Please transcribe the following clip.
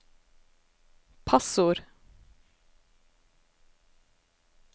passord